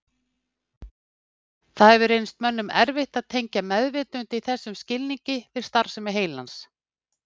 Það hefur reynst mönnum erfitt að tengja meðvitund í þessum skilningi við starfsemi heilans.